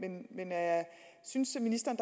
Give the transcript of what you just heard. synes ministeren